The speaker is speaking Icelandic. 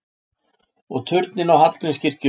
Og turninn á Hallgrímskirkju!